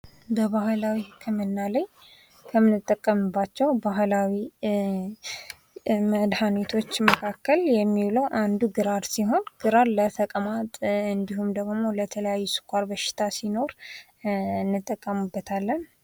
በባህላዊ ህክምና ላይ ከመነጥቅምባቸውም ባህላዊ መድኃኒቶች የሚውለው አንዱ ግራር ሲሆን ግራር ለተቅማጥ እንዲሁም ደግሞ የተለያዩ ስኳር በሽታ ሲኖር እንጠቀምበታለን።